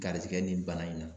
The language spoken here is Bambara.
Garijɛgɛ nin bana in na.